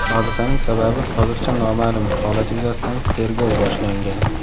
Hodisaning sababi hozircha noma’lum, holat yuzasidan tergov boshlangan.